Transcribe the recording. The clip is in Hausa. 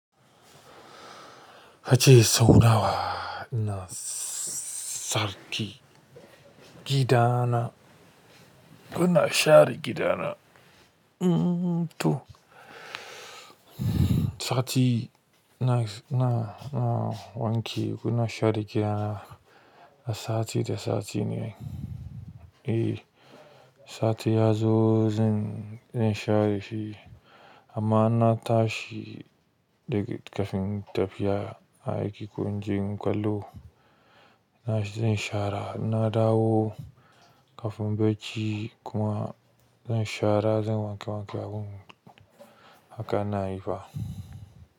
Kace sau nawa ina sarki gida na, kuna share gida na? To sati na, na, na wanke kuna share gida na, sati da sati ne. Eh sati yazo zan share shi amma ina tashi kafin in tafi aiki ko in je ƙwallo na, zan shara in na dawo kafin bacci kuma zan shara zan wanke wanke abun haka na yi fa.